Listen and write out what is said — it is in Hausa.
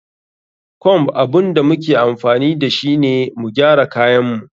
Comb abun da muke amfani dashu ne mu gyara kayin mu.